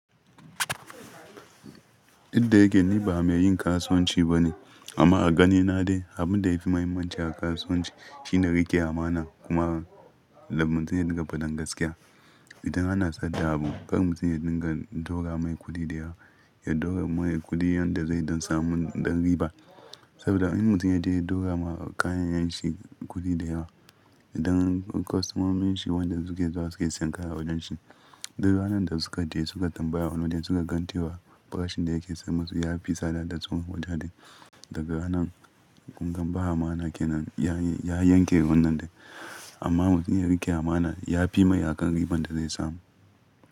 Inda yake ni ba mai yin kasuwanci ba ne, amma a ganina dai abin da yafi muhimmanci a kasuwanci shine rike amana kuma muntum ya dinga fadan gaskiya. Idan ana saida abu karka mutum da kan dogara mai kudi da yawa, ya dogara mai kudi yanda zai don samun ɗan riba. Saboda in mutumiyar ta dogara ma kayayyen shi kudi da yawa, idan kwastomomin shi wanda suke zuwa suke sayan kaya a wajen shi, duk ranar da suka je suka tambaya wane wajen suka gan tewa farashin da yake sai musu ya fi sada da tsuman wajen shi. Daga wannan gungun ba amana kenan ya yanke wannan dai. Amma mutumiyar rike amana ya fi mai akan riban da zai samu.